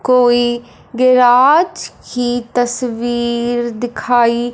कोई गिराज की तस्वीर दिखाई--